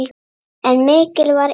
En mikill var efinn.